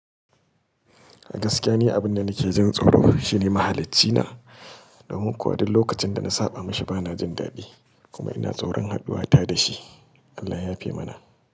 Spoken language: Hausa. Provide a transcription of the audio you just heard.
Gaskiya ni abin da nake jin tsoro shine mahalici na, domin kuwa duk lokacin da na saɓa mashi bana jin daɗi kuma ina tsoron hadduwa ta da shi. Allah ya fi mana.